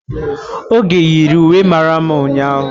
Oge yiri uwe mara mma ụnyahụ.